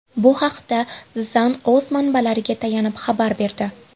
Bu haqda The Sun o‘z manbalariga tayanib xabar berdi .